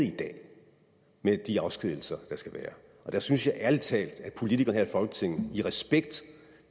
med de afskedigelser der skal være og der synes jeg ærlig talt at politikerne her i folketinget i respekt